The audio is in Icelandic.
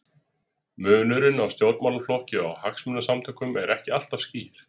Munurinn á stjórnmálaflokki og hagsmunasamtökum er ekki alltaf skýr.